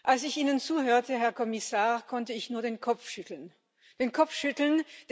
Als ich Ihnen zuhörte, Herr Kommissar, konnte ich nur den Kopf schütteln.